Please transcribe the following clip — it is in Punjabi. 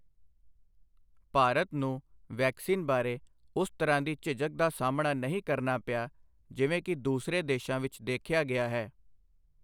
ਭਾਰਤ ਨੂੰ ਵੈਕਸੀਨ ਬਾਰੇ ਉਸ ਤਰ੍ਹਾਂ ਦੀ ਝਿਝਕ ਦਾ ਸਾਹਮਣਾ ਨਹੀਂ ਕਰਨਾ ਪਿਆ ਜਿਵੇਂ ਕਿ ਦੂਸਰੇ ਦੇਸ਼ਾਂ ਵਿੱਚ ਦੇਖਿਆ ਗਿਆ ਹੈ।